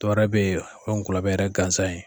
Tɔɔrɔ be yen, o ye ŋɔlɔbɛ yɛrɛ gansan ye